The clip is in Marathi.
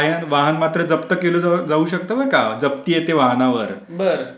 पण त्यामुळे कर्जाच्या हप्ते जे काय असतील ते वेळेवर फेडायला पाहिजे.